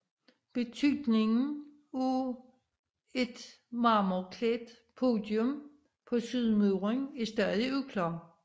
Betydningen af et marmorklædt podium på sydmuren er stadig uklar